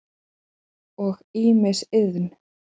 og ýmis iðn.